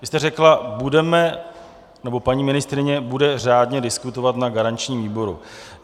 Vy jste řekla, budeme... nebo paní ministryně bude řádně diskutovat na garančním výboru.